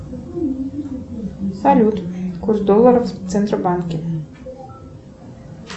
салют курс доллара в центробанке